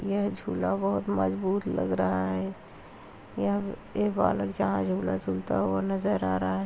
यह झूला बहोत मजबूत लग रहा है। यहां ये बालक जहाँ झूला झूलता हुआ नज़र आ रहा है।